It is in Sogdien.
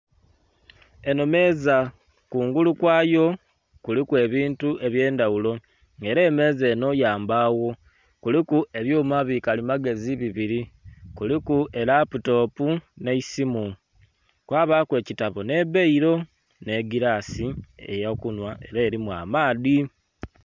Eno meeza kungulu kwayo kuliku ebintu ebyendhaghulo nga era emeeza eno ya mbaawo kuliku ebyuma bikalimagezi bibiri, kuliku eraputopu n'eisimu, kwabaku ekitabo n'ebbairo n'egirasi eyo kunhwa era erimu amaadhi.